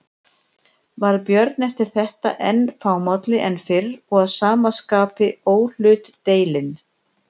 Varð Björn eftir þetta enn fámálli en fyrr og að sama skapi óhlutdeilinn.